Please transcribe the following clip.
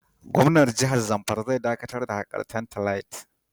Gwamnan jihar Nasarawa zai dakatar da hakar tantalite.